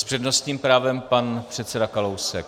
S přednostním právem pan předseda Kalousek.